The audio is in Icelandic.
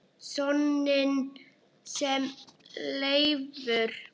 Soninn sem Leifur